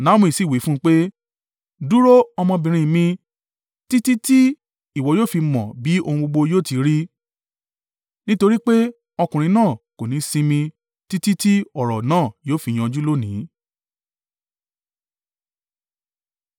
Naomi sì wí fún un pé, “Dúró, ọmọbìnrin mi títí tí ìwọ yóò fi mọ bí ohun gbogbo yóò ti rí, nítorí pé ọkùnrin náà kò ní sinmi títí tí ọ̀rọ̀ náà yóò fi yanjú lónìí.”